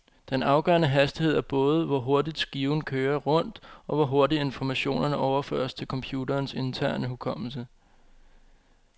Den afgørende hastighed er både, hvor hurtigt skiven kører rundt, og hvor hurtigt informationerne overføres til computerens interne hukommelse.